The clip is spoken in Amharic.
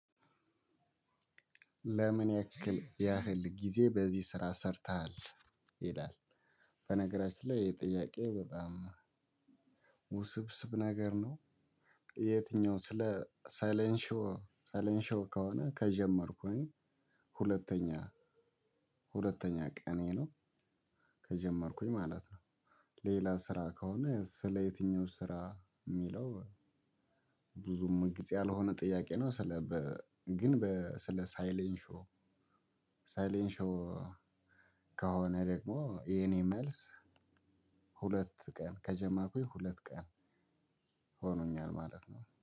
ለምን ያክል ያህል ጊዜ በዚህ ስራ ሰርተሃል? ይላል በነገራችን ላይ ይሄ ጥያቄ በጣም ውስብስብ ነገር ነው የትኛው ስለ ሳይለንሾ ሳይለንሾ ከሆነ ከጀመርኩኝ ሁለተኛ ቀኔ ነው ከጀመርኩኝ ማለት ነው። ሌላ ስራ ከሆነ ስለ የትኞቹ ስራ ሚለው ብዙም ግልጽ ያልሆነ ጥያቄ ነው፤ ስለ ግን ስለ ሳይሌን ሾው ሳይሌን ሾው ከሆነ ደግሞ የኔ መልስ ሁለት ቀን፤ ከጀመርኩኝ ሁለት ቀን ሆኖኛል ማለት ነው።